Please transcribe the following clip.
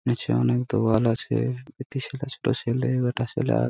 নিচে অনেক দোয়াল আছে বেটি ছেলা একটা ছেলা বাটা ছেলা অ্যা--